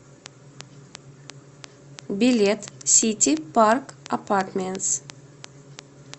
билет сити парк апартментс